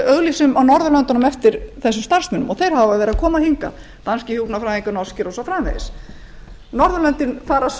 auglýsum á norðurlöndunum eftir starfsmönnum og hingað koma til dæmis danskir og norskir hjúkrunarfræðingar hin norðurlöndin leita svo